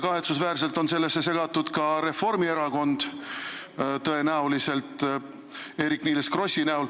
Kahetsusväärselt on sellesse tõenäoliselt segatud ka Reformierakonna liikmeid, nimelt Eerik-Niiles Kross.